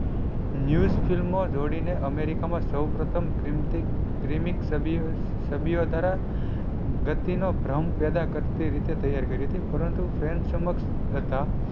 News ફિલ્મો જોડી ને America મા સૌ પ્રથમ ગતિ નો ભ્રમ પેદા કરતી રીતે તૈયાર કરી હતી પરંતુ સમક્ષ હતા.